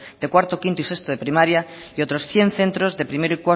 de cuarto quinto y sexto de primaria y otros cien centros de primero